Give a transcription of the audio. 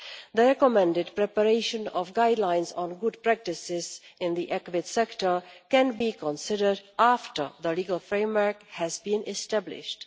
The recommended preparation of guidelines on good practices in the equine sector can be considered after the legal framework has been established.